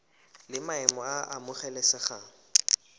la maemo a a amogelesegang